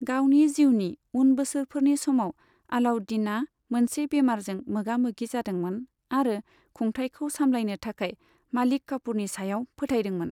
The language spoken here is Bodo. गावनि जीउनि उन बोसोरफोरनि समाव, आलाउद्दीनआ मोनसे बेमारजों मोगा मोगि जादोंंमोन, आरो खुंथायखौ सामलायनो थाखाय मालिक काफूरनि सायाव फोथायदोंमोन।